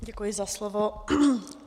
Děkuji za slovo.